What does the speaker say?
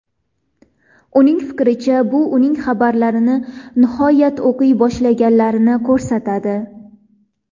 Uning fikricha, bu uning xabarlarini nihoyat o‘qiy boshlaganlarini ko‘rsatadi.